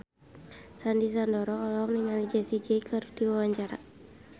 Sandy Sandoro olohok ningali Jessie J keur diwawancara